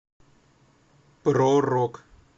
про рок